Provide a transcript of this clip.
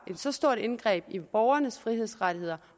et så stort indgreb i borgernes frihedsrettigheder